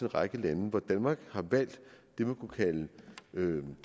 række lande hvor danmark har valgt det man